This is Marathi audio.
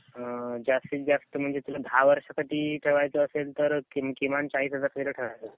जास्तीत जास्त म्हणजे तुला दहा वर्षा साठी ठेवायचे असेल तर किमान चाळीस हजार तरी ठेवायला पाहिजे.